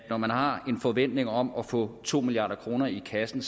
når man har en forventning om at få to milliard kroner i kassen